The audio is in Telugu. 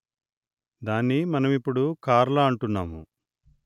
దాన్ని మనమిప్పుడు కార్ల అంటున్నాము